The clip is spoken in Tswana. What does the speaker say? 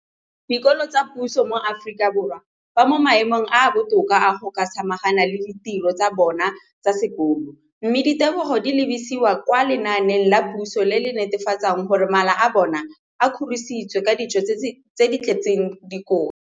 Dikolo tsa puso mo Aforika Borwa ba mo maemong a a botoka a go ka samagana le ditiro tsa bona tsa sekolo, mme ditebogo di lebisiwa kwa lenaaneng la puso le le netefatsang gore mala a bona a kgorisitswe ka dijo tse di tletseng dikotla.